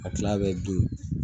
A tila bɛɛ bin